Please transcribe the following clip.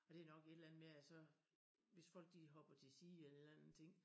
Og det nok et eller andet med at så hvis folk de hopper til side eller en eller anden ting